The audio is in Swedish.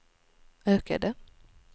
ökade